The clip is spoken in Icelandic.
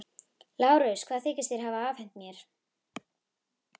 LÁRUS: Hvað þykist þér hafa afhent mér?